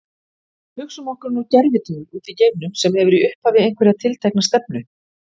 Hugsum okkur nú gervitungl úti í geimnum sem hefur í upphafi einhverja tiltekna stefnu.